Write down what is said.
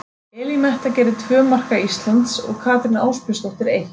Elín Metta gerði tvö marka Íslands og Katrín Ásbjörnsdóttir eitt.